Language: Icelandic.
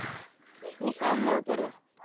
Við fáum nóg að borða.